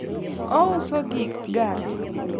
ouso gik ng'ar